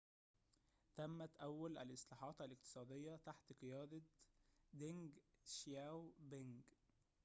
تمت أول الإصلاحات الاقتصادية تحت قيادة دينج شياو بينج